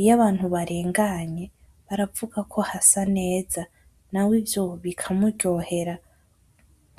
iyo abantu barenganye baravuga ko hasa neza nawe ivyo bikamuryohera .